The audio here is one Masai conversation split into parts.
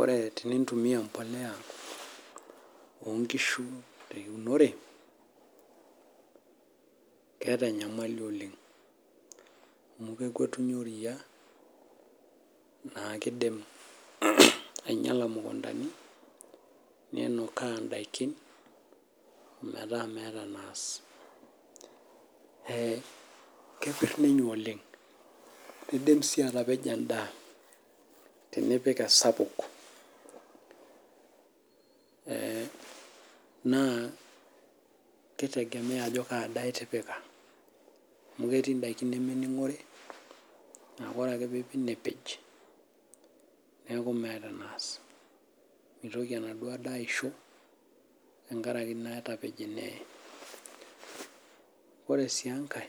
Ore tenintumia embolea oo nkishu teunore keeta enyamali oleng amu kekwetunye eria naa kidim ainyiala mukundani nenukaa daikin meeta meeta enas kepir ninye oleng nidim sii atapejo endaa tenipik esapuk naa ekitegemea Ajo Kaa daa etipika amu ketii daikin nemining'ori neeku ore ake peyie epik nepejneeku meeta enas mitoki enaduo daa ayisho tenkaraki naa etapeje neye ore sii enkae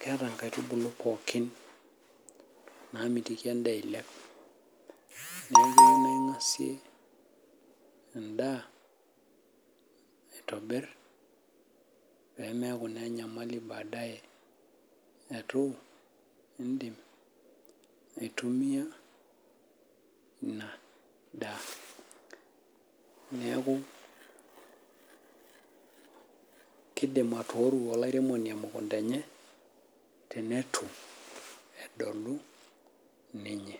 ketaa nkaitubulu pookin namitiki endaa eilep neeku keyieu naa eng'asie endaa aitobir pee mekuu naa enyamali baadae eitu edim aitumia ena daa neeku kidim atoru olairemoni emukunda enye teneitu edolu ninye